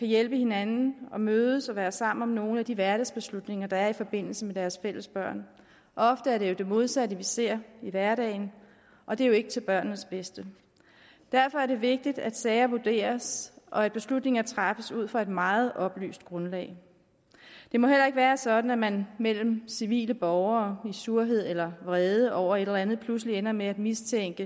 hjælpe hinanden og mødes og være sammen om nogle af de hverdagsbeslutninger der er i forbindelse med deres fælles børn ofte er det jo det modsatte vi ser i hverdagen og det er ikke til børnenes bedste derfor er det vigtigt at sager vurderes og at beslutninger træffes ud fra et meget oplyst grundlag det må heller ikke være sådan at man mellem civile borgere i surhed eller vrede over et eller andet pludselig ender med at mistænke